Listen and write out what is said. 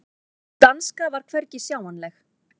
Sú danska var hvergi sjáanleg.